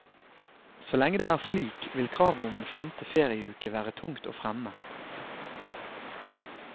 Så lenge det er slik, vil kravet om en femte ferieuke være tungt å fremme.